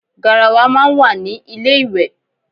Garawa máa ń wà ní ilé íwẹ́